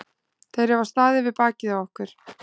Þeir hafa staðið við bakið á okkur.